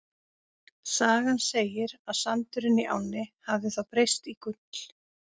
Sagan segir að sandurinn í ánni hafi þá breyst í gull.